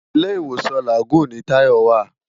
Ilé Iwósàn Lágùn ni Tolu wá